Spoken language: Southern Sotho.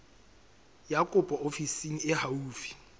ya kopo ofising e haufi